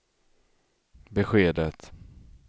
beskedet